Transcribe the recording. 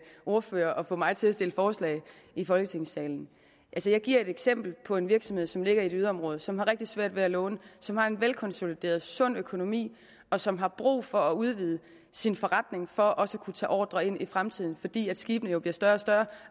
ordfører og få mig til at stille forslag i folketingssalen altså jeg giver et eksempel på en virksomhed som ligger i et yderområde som har rigtig svært ved at låne som har en velkonsolideret sund økonomi og som har brug for at udvide sin forretning for også at kunne tage ordrer ind i fremtiden fordi skibene jo bliver større og større